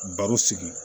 Baro sigi